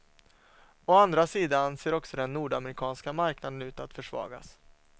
Å andra sidan ser också den nordamerikanska marknaden ut att försvagas.